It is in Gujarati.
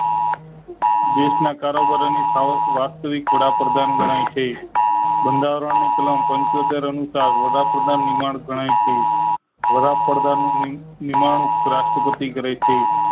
દેશ ના કારોબારી ની સાવક વાસ્તવિક વડાપ્રધાન ગણાય છે બંધારણ ની કલામ પંચોતેર અનુસાર વડાપ્રધાન નિર્માણ ગણાય છે વડાપ્રધાન ની નિમણુંક રાષ્ટ્રપતિ કરે છે